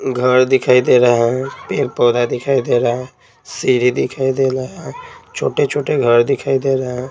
घर दिखाई दे रहा है पेर पौधा दिखाई दे रहा है सीढ़ी दिखाई दे रहा है छोटे-छोटे घर दिखाई दे रहे हैं।